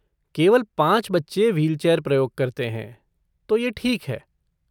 केवल पाँच बच्चे व्हीलचेयर प्रयोग करते हैं, तो यह ठीक है।